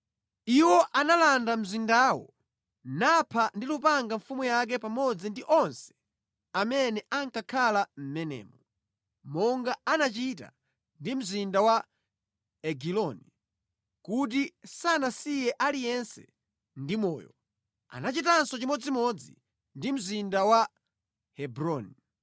Iwo analanda mzindawo napha ndi lupanga mfumu yake pamodzi ndi onse amene ankakhala mʼmenemo. Monga anachita ndi mzinda wa Egiloni, kuti sanasiye aliyense ndi moyo, anachitanso chimodzimodzi ndi mzinda wa Hebroni.